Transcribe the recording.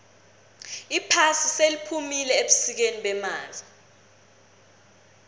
iphasi seliphumile ebusikeni bemali